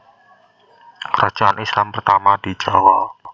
Kerajaan Islam Pertama di Jawa